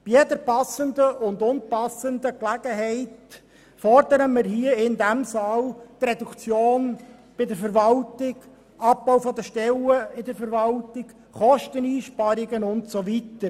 Bei jeder passenden und unpassenden Gelegenheit fordern wir in diesem Saal eine Reduktion in der Verwaltung, einen Abbau bei den Stellen in der Verwaltung, Kosteneinsparungen usw.